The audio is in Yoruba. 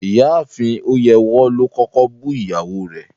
Rárá, Ìyáafin Oyèwọ̀ lo kọ̀kọ̀ bú iyàwó rẹ̀